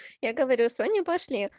я говорю соня пошли